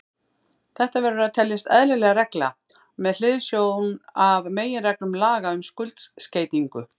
Þetta verður að teljast eðlileg regla með hliðsjón af meginreglum laga um skuldskeytingu.